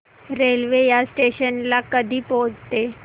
railway या station ला कधी पोहचते